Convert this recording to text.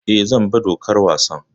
Eh, zan bi dokar wasan.